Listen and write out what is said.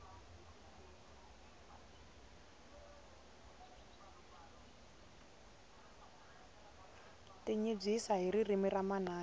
tinyibyisa hi ririmi ra manana